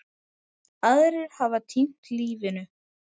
Aðrir hafa týnt lífinu.